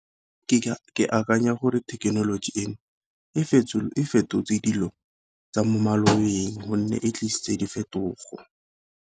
Ke akanya gore thekenoloji eno e fetotse dilo tsa mo malobeng, gonne e tlisitse diphetogo.